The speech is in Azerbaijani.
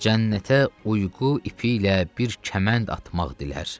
Cənnətə uyğu ipi ilə bir kəmənd atmaq dilər.